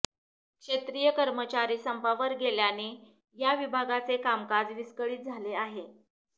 क्षेत्रीय कर्मचारी संपावर गेल्याने या विभागाचे कामकाज विस्कळीत झाले आहे